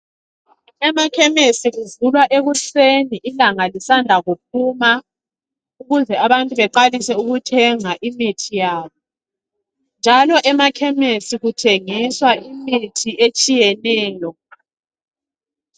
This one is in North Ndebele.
Emakhemesi kuvulwa ekuseni ilanga lisanda kuphuma ukuze abantu beqalise ukuthenga imithi yabo. Njalo emakhemesi kuthengiswa imithi etshiyeneyo.